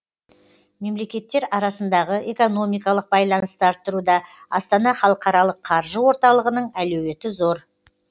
мемлекеттер арасындағы экономикалық байланысты арттыруда астана халықаралық қаржы орталығының әлеуеті зор